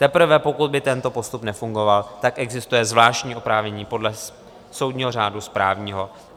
Teprve pokud by tento postup nefungoval, tak existuje zvláštní oprávnění podle soudního řádu správního.